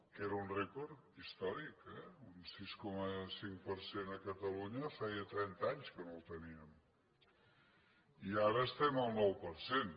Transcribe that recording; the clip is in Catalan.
que era un rècord històric un sis cinc per cent a catalunya feia trenta anys que no el teníem i ara estem al nou per cent